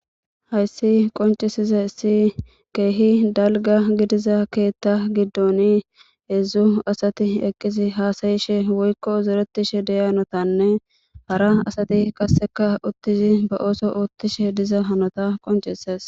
hayssi qoncisize si keehi dalga gidiza keetta giddon heedzzu asati eqqisi haasayishe woykko uzeretishe deyanotanne hara asati qasseka uttizi ba ooso oottishe diza hanota qoncises